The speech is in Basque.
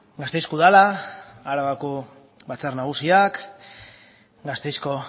gasteizko udala arabako batzar nagusiak gasteizko